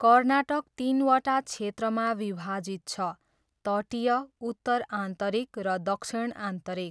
कर्नाटक तिनवटा क्षेत्रमा विभाजित छ, तटीय, उत्तर आन्तरिक र दक्षिण आन्तरिक।